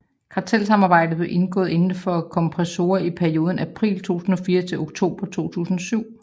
Kartelsamarbejdet blev indgået indenfor kompressorer i perioden april 2004 til oktober 2007